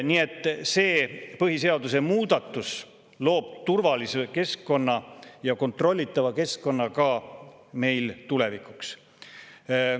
Nii et see põhiseaduse muudatus loob turvalise ja kontrollitava keskkonna ka tulevikuks.